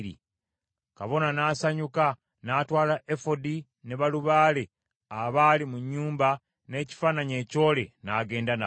Kabona n’asanyuka, n’atwala Efodi ne balubaale abaali mu nnyumba n’ekifaananyi ekyole n’agenda nabo.